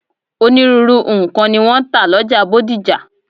Onírúurú nǹkan ni wọ́n ń tà lọ́jà Bódìjà.